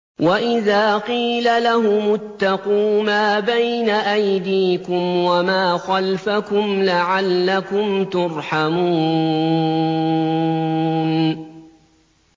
وَإِذَا قِيلَ لَهُمُ اتَّقُوا مَا بَيْنَ أَيْدِيكُمْ وَمَا خَلْفَكُمْ لَعَلَّكُمْ تُرْحَمُونَ